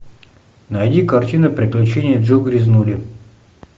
найди картины приключения джу грязнули